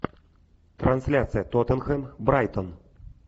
трансляция тоттенхэм брайтон